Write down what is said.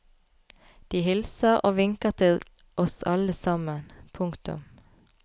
De hilser og vinker til oss alle sammen. punktum